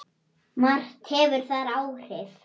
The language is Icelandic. Margt hefur þar áhrif.